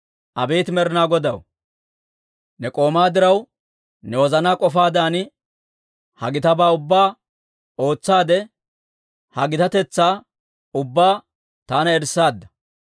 Abeet Med'inaa Godaw, ne k'oomaa diraw, ne wozanaa k'ofaadan ha gitabaa ubbaa ootsaade, ha gitatetsaa ubbaa taana erissaadda.